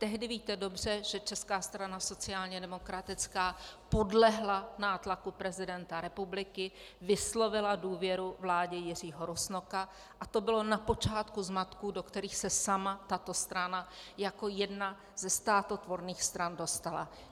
Tehdy, víte dobře, že Česká strana sociálně demokratická podlehla nátlaku prezidenta republiky, vyslovila důvěru vládě Jiřího Rusnoka a to bylo na počátku zmatků, do kterých se sama tato strana jako jedna ze státotvorných stran dostala.